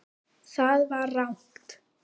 Það var rangt.